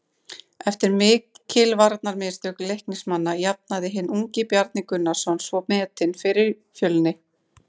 Eftir mikil varnarmistök Leiknismanna jafnaði hinn ungi Bjarni Gunnarsson svo metin fyrir Fjölni.